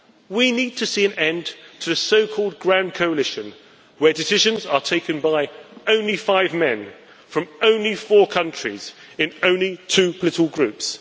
We need to see an end to the so called grand coalition where decisions are taken by only five men from only four countries in only two political groups.